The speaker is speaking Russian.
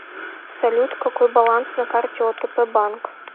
салют какой баланс на карте отп банк